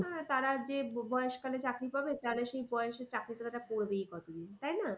আহ তারা যে বয়স কালে চাকরি পাবে তাহলে সেই বয়স এ চাকরিটা তারা করবেই কদিন তাই না?